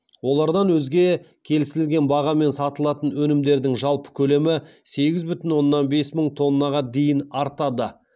олардан өзге келісілген бағамен сатылатын өнімдердің жалпы көлемі сегіз бүтін оннан бес мың тоннаға дейін артады